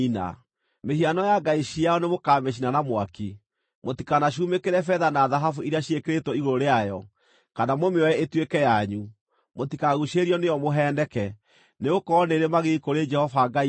Mĩhiano ya ngai ciao nĩmũkamĩcina na mwaki. Mũtikanacumĩkĩre betha na thahabu iria ciĩkĩrĩtwo igũrũ rĩayo, kana mũmĩoe ĩtuĩke yanyu, mũtikaguucĩrĩrio nĩyo mũheeneke, nĩgũkorwo nĩĩrĩ magigi kũrĩ Jehova Ngai wanyu.